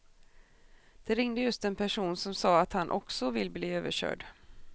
Det ringde just en person som sa att han också vill bli överkörd.